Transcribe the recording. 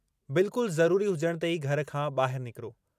बिल्कुल ज़रूरी हुजणु ते ई घर खां ॿाहिरि निकिरो।